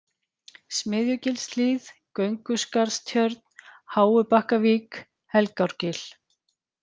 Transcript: Smiðjugilshlíð, Gönguskarðstjörn, Háubakkavík, Helgárgil